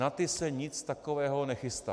Na ty se nic takového nechystá.